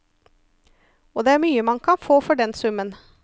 Og det er mye man kan få for den summen.